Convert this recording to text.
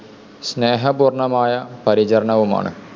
സ്‌നേഹപൂർണമായ പരിചരണവുമാണ്.